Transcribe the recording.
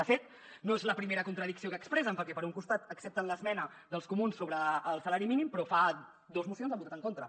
de fet no és la primera contradicció que expressen perquè per un costat accep·ten l’esmena dels comuns sobre el salari mínim però fa dos mocions hi han votat en contra